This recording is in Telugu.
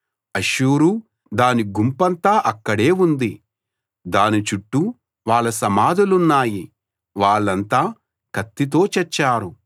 అష్షూరు దాని గుంపంతా అక్కడే ఉంది దాని చుట్టూ వాళ్ళ సమాధులున్నాయి వాళ్ళంతా కత్తితో చచ్చారు